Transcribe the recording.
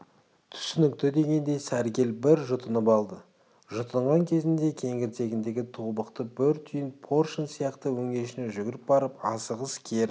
түсінікті дегендей сәргел бір жұтынып алды жұтынған кезінде кеңірдегіндегі тобықты бір түйін поршень сияқты өңешіне жүгіріп барып асығыс кері